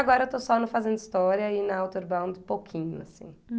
Agora eu estou só no Fazenda História e na Outerbound um pouquinho, assim.